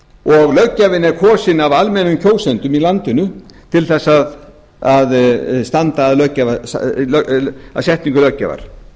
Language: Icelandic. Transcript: og löggjafinn er kosinn af almennum kjósendum í landinu til þess að setningu löggjafar